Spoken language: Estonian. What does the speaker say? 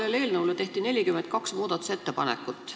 Selle eelnõu kohta tehti 42 muudatusettepanekut.